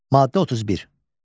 Maddə 31.